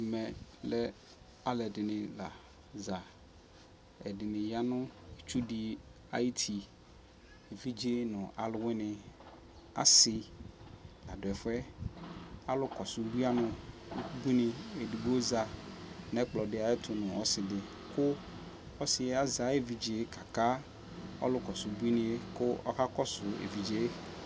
Ɛmɛ alʋ ɛdini laza ɛdini yanʋ itsu di ayu ʋti evidze nʋ alʋwini asi ladʋ ɛfʋ yɛ alʋ kɔsʋ ʋbuini edigbo za nʋ ɛkplɔdi ayʋ ɛtʋ nʋ ɔsi kʋ ɔsi yɛ azɛ ayʋ evidze kaka ɔlʋkɔsʋ ʋbuiniyɛ kɔ ɔka kɔsʋ evidze